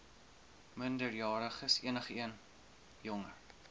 minderjariges enigeen jonger